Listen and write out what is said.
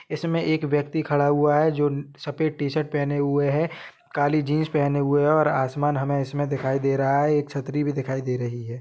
इसमें एक व्यक्ति खड़ा हुआ है जो सफेद टी-शर्ट पहने हुए है काली जीन्स पहने हुए और आसमान हमें इसमें दिखाई दे रहा है एक छतरी भी दिखाई दे रही है।